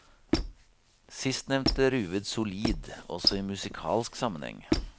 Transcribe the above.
Sistnevnte ruvet solid, også i musikalsk sammenheng.